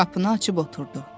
Qapını açıb oturdu.